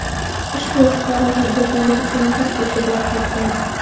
Ushbu fuqaro tadbirkorlik uchun Turkiyaga borib qaytgan.